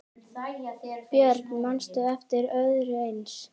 Björn: Manstu eftir öðru eins?